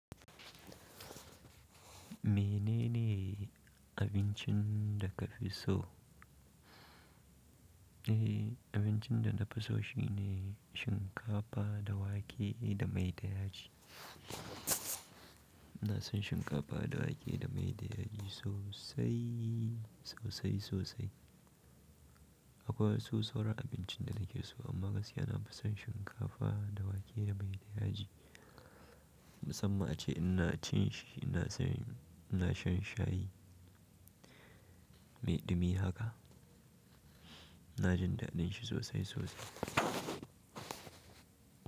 Menene abincin da ka fi so? Eh, abincin da na fi so shine shinkafa da wake da mai da yaji. Ina san shinkafa da wake da mai da yaji sosai, sosai sosai. Akwai wasu sauran abincin da nake so amma gaskiya na fi son shinkafa da wake da mai da yaji. Musamman ace in na cin shi, ina san ina shan shayi, mai ɗumi haka. Na jin daɗin shi sosai sosai.